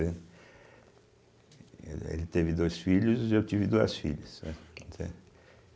Ele teve dois filhos e eu tive duas filhas. né, entende